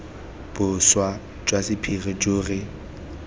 boswa jwa sephiri jo re